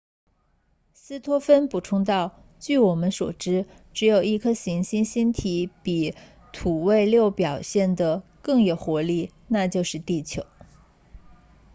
斯托芬补充道据我们所知只有一颗行星星体比土卫六表现得更有活力那就是地球